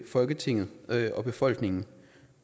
folketinget og befolkningen